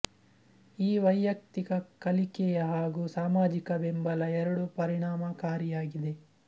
ಈ ವೈಯಕ್ತಿಕ ಕಲಿಕೆಯ ಹಾಗೂ ಸಾಮಾಜಿಕ ಬೆಂಬಲ ಎರಡೂ ಪರಿಣಾಮಕಾರಿಯಾಗಿದೆ